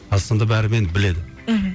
қазақстанда бәрі мені біледі мхм